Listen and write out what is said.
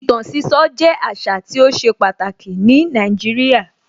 Ìtàn sísọ jẹ́ àṣà tí ó ṣe pàtàkì ní Nàìjíríà.